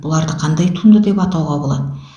бұларды қандай туынды деп атауға болады